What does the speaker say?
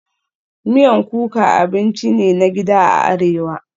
Miyan kuka abinci ne na gida a Arewa